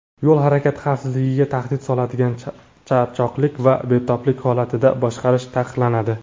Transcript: yo‘l harakati xavfsizligiga tahdid soladigan charchoqlik va betoblik holatida boshqarish taqiqlanadi.